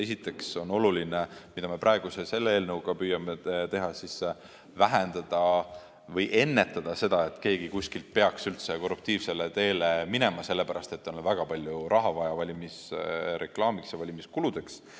Esiteks on oluline, mida me praegu selle eelnõuga püüame teha, vähendada või ennetada seda, et keegi kuskil peaks üldse korruptiivsele teele minema, sellepärast et tal on väga palju raha vaja valimisreklaamiks ja valimiskuludeks.